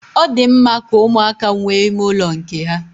Ọ di mma ka ụmụaka nwee ime ụlọ nke ha.